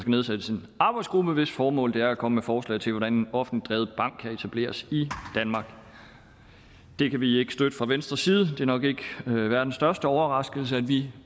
nedsættes en arbejdsgruppe hvis formål er at komme med forslag til hvordan en offentligt drevet barn kan etableres i danmark det kan vi ikke støtte fra venstres side og det er nok ikke verdens største overraskelse at vi